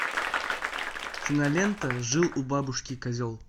кинолента жил у бабушки козел